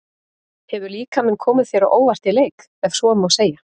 Hefur líkaminn komið þér á óvart í leik, ef svo má segja?